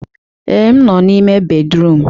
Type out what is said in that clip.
Ee, m nọ n'ime bédrụum.